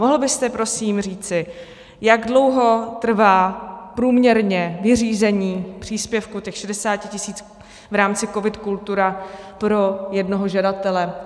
Mohl byste prosím říci, jak dlouho trvá průměrně vyřízení příspěvku těch 60 tisíc v rámci COVID - Kultura pro jednoho žadatele?